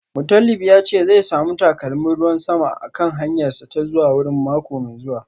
Mutalib ya ce zai samu takalmin ruwan sama a kan hanyarsa ta zuwa wurin mako mai zuwa